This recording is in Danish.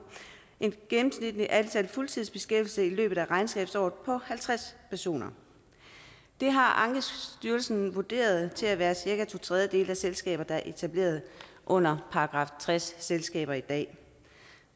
et gennemsnitligt antal fuldtidsbeskæftigede i løbet af regnskabsåret på halvtreds personer det har ankestyrelsen vurderet til at være cirka to tredjedele af de selskaber der er etableret under § tres selskaber i dag